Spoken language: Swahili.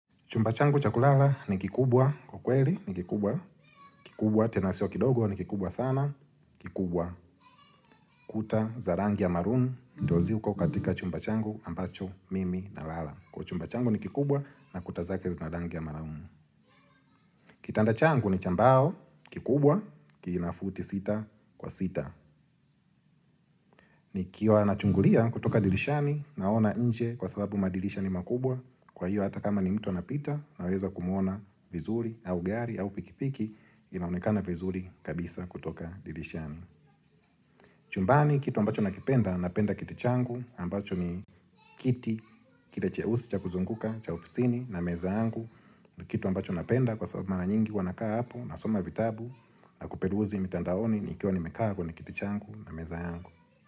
Chumba changu cha kulala ni kikubwa, kwa kweli ni kikubwa, kikubwa tena sio kidogo ni kikubwa sana, kikubwa kuta za rangi ya marun, ndo. Ziko katika chumba changu ambacho mimi nalala. Kwa chumba changu ni kikubwa na kuta zake zina rangi ya marumu. Kitanda changu ni cha mbao, kikubwa, kinafuti sita kwa sita. Nikiwa nachungulia kutoka dirishani naona nje kwa sababu madirisha ni makubwa Kwa hiyo hata kama ni mtu anapita naweza kumuona vizuri au gari au pikipiki inaonekana vizuri kabisa kutoka dirishani chumbani kitu ambacho nakipenda napenda kiti changu ambacho ni kiti Kile cheusi cha kuzunguka cha ofisini na meza yangu Kitu ambacho napenda kwa sababu mara nyingi huwa nakaa hapo nasoma vitabu na kuperuzi mitandaoni nikiwa nimeka kwenye kiti changu na meza yangu.